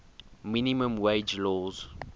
minimum wage laws